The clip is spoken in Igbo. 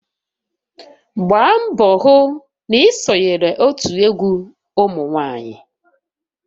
Gbaa mbọ hụ na ị sonyeghị otu egwu ụmụ nwanyị!